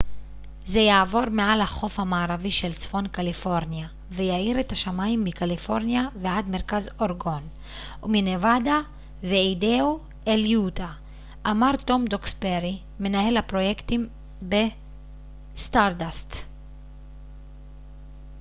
זה יעבור מעל החוף המערבי של צפון קליפורניה ויאיר את השמים מקליפורניה ועד מרכז אורגון ומנבדה ואיידהו אל יוטה אמר טום דוקסברי מנהל הפרויקטים בסטארדאסט